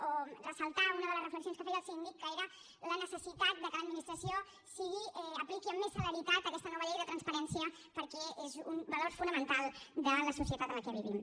o ressaltar una de les reflexions que feia el síndic que era la necessitat de que l’administració apliqui amb més celeritat aquesta nova llei de transparència perquè és un valor fonamental de la societat en la que vivim